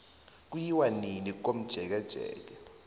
kuyiwa nini komjekejeke